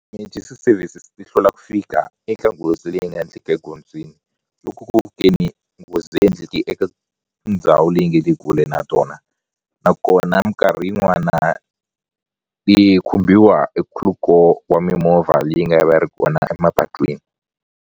Emergency services ti hlwela ku fika eka nghozi leyi nga endleka egondzweni loko nghozi endleke eka ndhawu leyi nge le kule na tona nakona minkarhi yin'wana yi khumbiwa hi wa mimovha leyi nga va yi ri kona emapatwini.